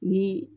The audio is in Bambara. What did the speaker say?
Ni